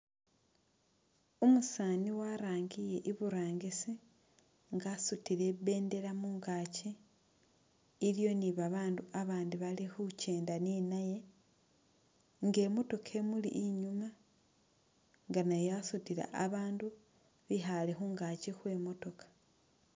Umusani warangire iburangisi nga asutile ibendela mungakyi iliwo ni babandu abandi bali khukyenda ni naye nga imotoka imuli inyuma nga nayo yasutile abandu bikhale khungakyi khwe motoka .